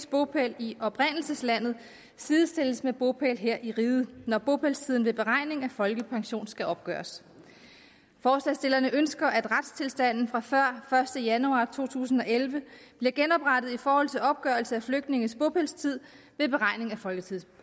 bopæl i oprindelseslandet sidestilles med bopæl her i riget når bopælstiden ved beregning af folkepension skal opgøres forslagsstillerne ønsker at retstilstanden fra før første januar to tusind og elleve bliver genoprettet i forhold til opgørelse af flygtninges bopælstid ved beregning